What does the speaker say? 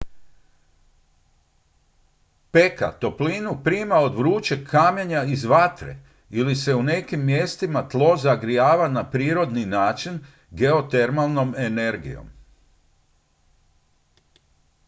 peka toplinu prima od vrućeg kamenja iz vatre ili se u nekim mjestima tlo zagrijava na prirodni način geotermalnom energijom